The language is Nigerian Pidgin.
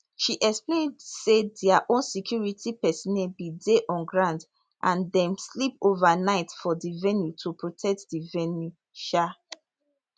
she explain say dia own security personnel bin dey on ground and dem sleep ova night for di venue to protect di venue um